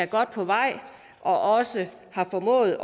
godt på vej og har også formået